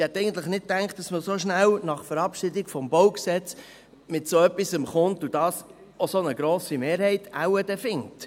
Ich hätte eigentlich nicht gedacht, dass man so schnell nach Verabschiedung des BauG mit so etwas kommt, das wohl auch eine so grosse Mehrheit findet.